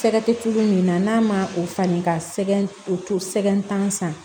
Fɛɛrɛ tɛ tulu min na n'a ma o falen ka sɛbɛn o sɛgɛn tan san